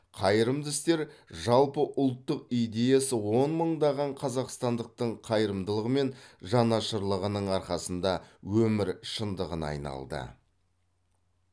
қайырымды істер жалпы ұлттық идеясы он мыңдаған қазақстандықтың қайырымдылығы мен жанашырлығының арқасында өмір шындығына айналды